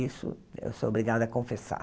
Isso eu sou obrigada a confessar.